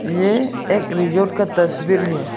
ये एक रिसोर्ट का तस्वीर है।